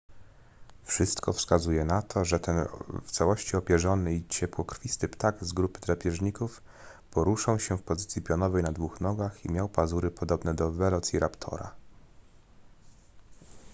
wszystko wskazuje na to że ten w całości opierzony i ciepłokrwisty ptak z grupy drapieżników poruszał się w pozycji pionowej na dwóch nogach i miał pazury podobne do welociraptora